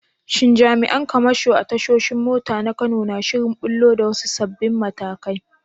Shin jami’an kamasho a tashoshin mota na Kano suna shirin ɓullo da wasu sabbin matakai?